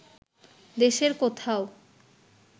দেশের কোথাও